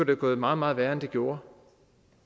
være gået meget meget værre end det gjorde